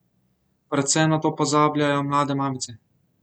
Predvsem na to pozabljajo mlade mamice.